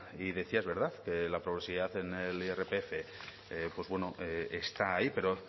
y decía es verdad que la progresividad en el irpf pues bueno está ahí pero